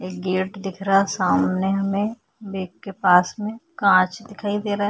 ये गेट दिख रा सामने मे बैग के पास मे कांच दिखाई दे रहा है।